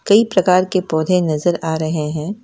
कई प्रकार के पौधे नजर आ रहे हैं।